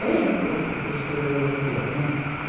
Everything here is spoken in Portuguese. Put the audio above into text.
Bem o cu, o costume europeu, né?